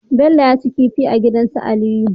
Bello yaci kifi a gidan su aliyu